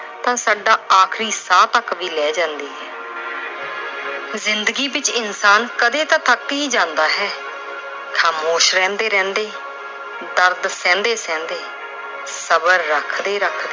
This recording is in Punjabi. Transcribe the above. ਤਾਂ ਸਾਡਾ ਆਖਰੀ ਸਾਹ ਤੱਕ ਵੀ ਲੈ ਜਾਂਦੀ ਹੈ। ਜ਼ਿੰਦਗੀ ਵਿੱਚ ਇਨਸਾਨ ਕਦੇ ਤਾਂ ਥੱਕ ਈ ਜਾਂਦਾ ਏ। ਖਾਮੋਸ਼ ਰਹਿੰਦੇ-ਰਹਿੰਦੇ, ਦਰਦ ਸਹਿੰਦੇ-ਸਹਿੰਦੇ, ਸਬਰ ਰੱਖਦੇ-ਰੱਖਦੇ।